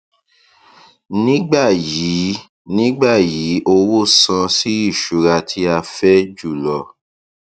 nígbà yìí nígbà yìí owó san sí ìṣura tí a fẹ jùlọ